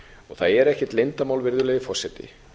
það er ekkert leyndarmál virðulegi forseti